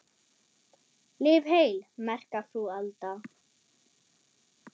Lif heil, merka frú Alda.